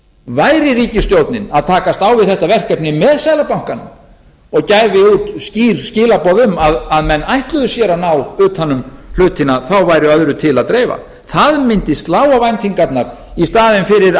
væri ríkisstjórnin að takast á við þetta verkefni með seðlabankanum og gæfi út skýr skilaboð um að menn ætluðu sér að ná utan um hlutina þó væri öðru til að dreifa það mundi slá á væntingarnar í staðinn fyrir að